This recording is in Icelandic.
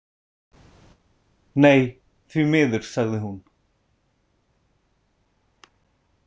Nei, því miður, sagði hún.